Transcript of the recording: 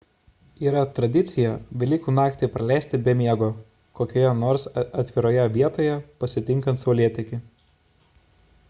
yra tradicija velykų naktį praleisti be miego kokioje nors atviroje vietoje pasitinkant saulėtekį